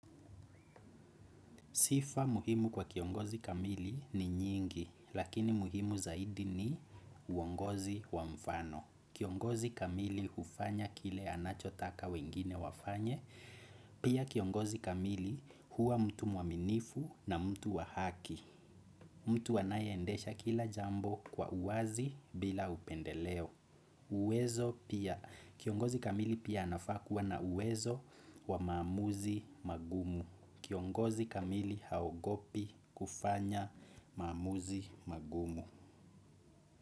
Sifa muhimu kwa kiongozi kamili ni nyingi lakini muhimu zaidi ni uongozi wa mfano. Kiongozi kamili hufanya kile anacho taka wengine wafanye pia kiongozi kamili huwa mtu mwaminifu na mtu wa haki. Mtu anaye endesha kila jambo kwa uwazi bila upendeleo. Uwezo pia. Kiongozi kamili pia anafaa kuwa na uwezo wa maamuzi magumu. Kiongozi kamili haogopi kufanya maamuzi magumu.